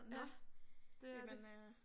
Nå jamen øh